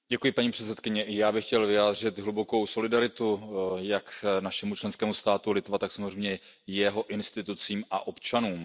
Paní předsedající, i já bych chtěl vyjádřit hlubokou solidaritu jak našemu členskému státu Litvě, tak samozřejmě jeho institucím a občanům.